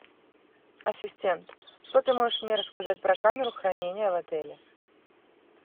ассистент что ты можешь мне рассказать про камеру хранения в отеле